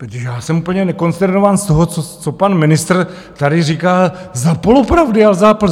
protože já jsem úplně konsternován z toho, co pan ministr tady říká za polopravdy a za lži.